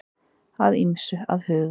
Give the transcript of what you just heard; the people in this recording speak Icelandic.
Að ýmsu að huga